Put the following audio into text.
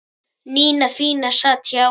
Nína fína sat hjá